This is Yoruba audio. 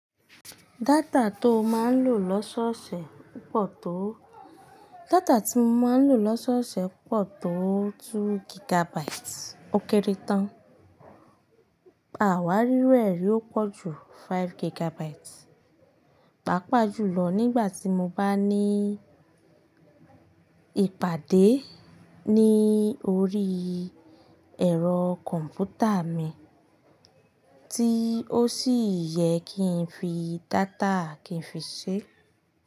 Data tó máa ń lò lọ́sọ́ọ̀ṣè pọ̀ tó, data tí mo máa ń lò lọ́sọ́ọ̀ṣè pọ̀ tó méjì gigabytes ó kéré tán, àwárí ru ẹ̀ rí ó pọ̀ ju márùn-ún gigabytes. Pápa jùlọ nígbà tí mo bá ní ìpàdé ní orí ẹ̀rọ kọ̀m̀pútà mi tí ó sì yẹ kí n fi data kí n fi ṣe.